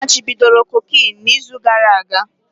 A machibidoro cocaine na izu gara aga